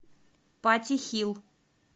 патти хилл